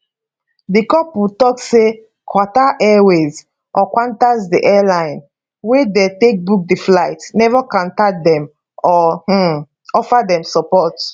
di couple tok say qatar airways or qantas di airline wey dem take book di flight neva contact dem or um offer dem support